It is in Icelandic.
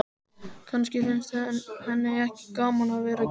Kannski finnst henni ekki gaman að vera gift.